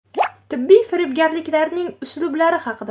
Tibbiy firibgarlikning uslublari haqida.